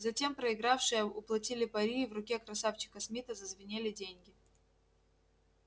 затем проигравшие уплатили пари и в руке красавчика смита зазвенели деньги